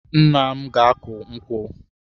Nna m ga-akụ nkwụ.